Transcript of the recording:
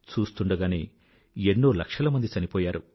చూస్తుండగానే ఎన్నో లక్షల మంది చనిపోయారు